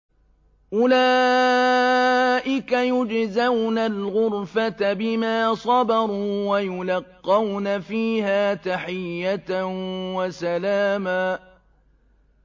أُولَٰئِكَ يُجْزَوْنَ الْغُرْفَةَ بِمَا صَبَرُوا وَيُلَقَّوْنَ فِيهَا تَحِيَّةً وَسَلَامًا